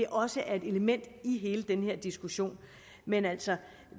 også er et element i hele den her diskussion men altså